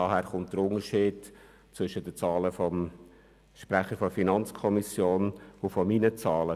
Daher rührt der Unterschied zwischen den Zahlen des Sprechers der FiKo und meinen Zahlen.